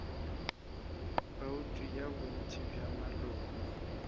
bouto ya bontši bja maloko